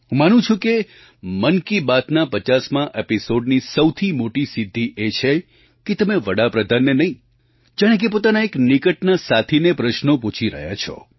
હું માનું છું કે મન કી બાતના 50મા એપિસૉડની સૌથી મોટી સિદ્ધિ એ છે કે તમે વડા પ્રધાનને નહીં જાણે કે પોતાના એક નિકટના સાથીને પ્રશ્નો પૂછી રહ્યા છો